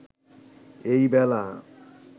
এই বেলা